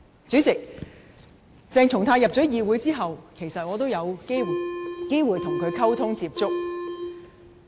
主席，鄭松泰加入議會後，我有機會跟他溝通接觸。